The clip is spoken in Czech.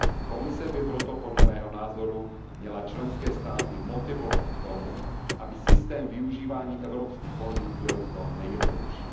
Komise by proto podle mého názoru měla členské státy motivovat k tomu, aby systém využívání evropských fondů byl co nejjednodušší.